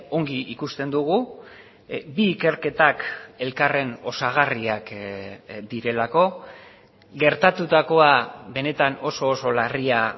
ongi ikusten dugu bi ikerketak elkarren osagarriak direlako gertatutakoa benetan oso oso larria